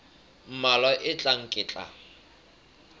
mmalwa a tlang ke tla